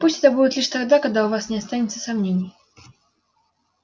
пусть это будет лишь тогда когда у вас не останется сомнений